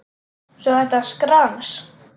Svo þetta skrans.